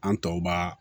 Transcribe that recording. An tɔw b'a